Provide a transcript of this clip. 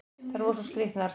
Þær eru svo skrýtnar!